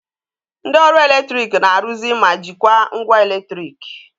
Ndị ọrụ eletrik na-arụzi ma jikwaa ngwa eletriki